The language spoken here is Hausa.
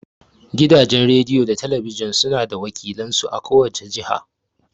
Gidajen rediyo da na talabijin suna da wakilan su a ko wace jiha.